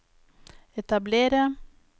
etablere